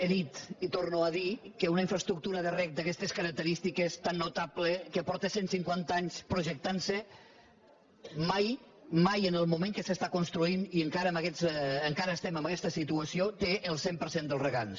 he dit i torno a dir ho que una infraestructura de reg d’aquestes característiques tan notables que ja fa cent cinquanta anys que es projecta mai mai en el moment que s’està construint i encara estem en aquesta situació té el cent per cent dels regants